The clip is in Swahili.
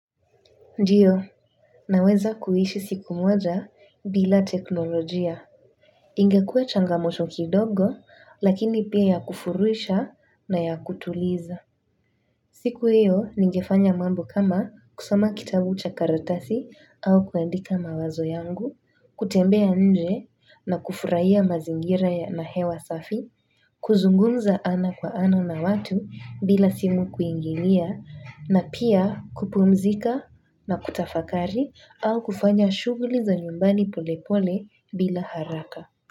Ndio, naweza kuishi siku moja bila teknolojia. Ingekua changamoto kidogo, lakini pia ya kufurisha na ya kutuliza. Siku hio, nigefanya mambo kama kusoma kitabu cha karatasi au kuandika mawazo yangu, kutembea nje na kufurahia mazingira ya na hewa safi, kuzungumza ana kwa ana na watu bila simu kuingilia na pia kupumzika na kutafakari au kufanya shughuli za nyumbani pole pole bila haraka.